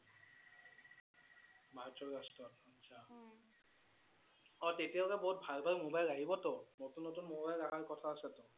মাৰ্চৰ last ত আচ্ছা? অ' তেতিয়াহলে বহুত ভাল ভাল mobile আহিবটো । নতুন নতুন mobile অহাৰ কথা আছেটো